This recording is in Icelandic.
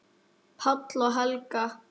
Páll og Helga.